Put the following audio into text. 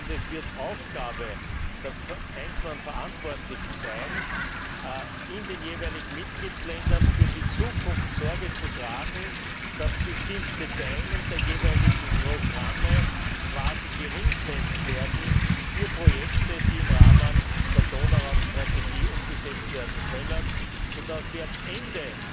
Es wird Aufgabe der einzelnen Verantwortlichen sein, in den jeweiligen Mitgliedstaaten für die Zukunft Sorge zu tragen, dass bestimmte Teile der jeweiligen Programme quasi zweckgebunden werden für Projekte, die im Rahmen der Donauraum Strategie umgesetzt werden können, so dass wir am Ende